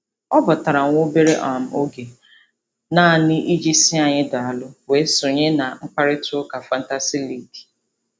Ọ batara nwa obere um oge um naanị um iji sị anyị daalụ, wee sonye na mkparịtaụka fantasi liigi.